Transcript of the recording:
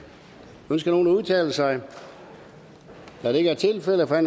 ønsker nogen at udtale sig da det ikke er tilfældet er